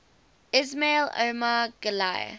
ismail omar guelleh